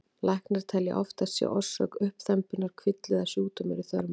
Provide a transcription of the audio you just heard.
Læknar telja að oftast sé orsök uppþembunnar kvilli eða sjúkdómur í þörmum.